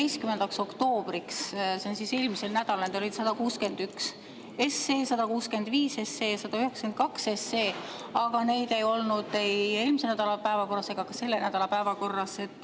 … 11. oktoobriks, see oli eelmisel nädalal, need olid 161 SE, 165 SE ja 192 SE, aga neid ei olnud ei eelmise nädala päevakorras ega ole ka selle nädala päevakorras.